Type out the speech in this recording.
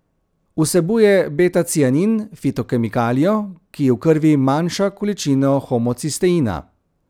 Vsebuje betacianin, fitokemikalijo, ki v krvi manjša količino homocisteina.